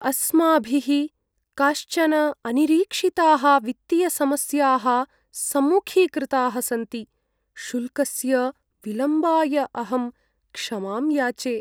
अस्माभिः काश्चन अनिरीक्षिताः वित्तीयसमस्याः सम्मुखीकृताः सन्ति, शुल्कस्य विलम्बाय अहं क्षमां याचे।